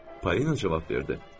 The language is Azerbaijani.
Polina cavab verdi.